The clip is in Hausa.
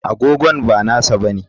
Agogo ba nasa bane.